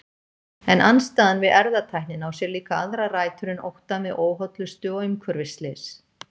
En andstaðan við erfðatæknina á sér líka aðrar rætur en óttann við óhollustu og umhverfisslys.